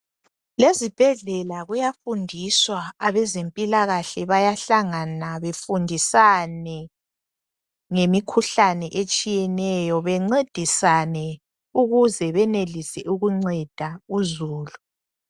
Lezibhedlela kuyafundiswa abezempilakahle bayahlangana befundisane ngemikhuhlane etshiyeneyo bencedisane ukuze benelise ukunceda uzulu.